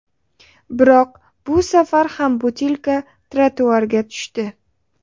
Biroq bu safar ham butilka trotuarga tushdi.